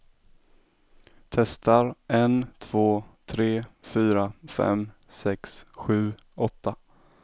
Testar en två tre fyra fem sex sju åtta.